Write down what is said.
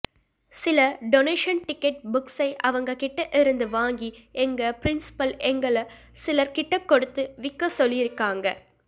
சில donation ticket புக்ஸை அவங்க கிட்டேருந்து வாங்கி எங்க ப்ரின்சிபல் எங்கள்ள சிலர் கிட்ட குடுத்து விக்கச் சொல்லியிருக்காங்க